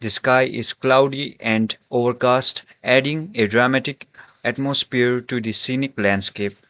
the sky is cloudy and overcast adding a dramatic atmosphere to the scenic landscape.